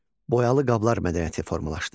Boyalı qablar mədəniyyəti formalaşdı.